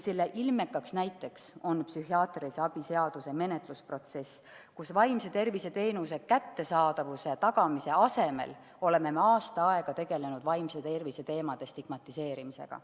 Selle ilmekas näide on psühhiaatrilise abi seaduse menetlusprotsess, kui me vaimse tervise teenuse kättesaadavuse tagamise asemel oleme aasta aega tegelenud vaimse tervise teemade stigmatiseerimisega.